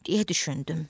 deyə düşündüm.